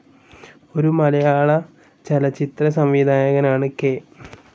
ഒരു മലയാളചലച്ചിത്ര സംവിധായകൻ ആണ്‌ കെ.